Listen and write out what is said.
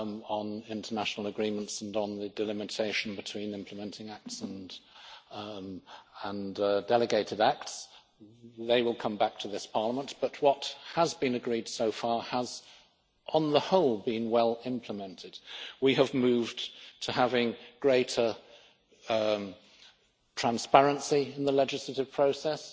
on international agreements and on the delimitation between implementing acts and delegated acts they will come back to this Parliament but what has been agreed so far has, on the whole, been well implemented. We have moved to having greater transparency in the legislative process.